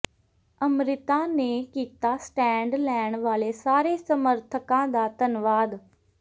ਅੰਮ੍ਰਿਤਾ ਨੇ ਕੀਤਾ ਸਟੈਂਡ ਲੈਣ ਵਾਲੇ ਸਾਰੇ ਸਮਰਥਕਾਂ ਦਾ ਧੰਨਵਾਦ